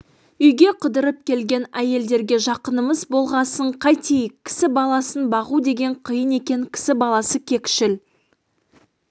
үйге қыдырып келген әйелдерге жақынымыз болғасын қайтейік кісі баласын бағу деген қиын екен кісі баласы кекшіл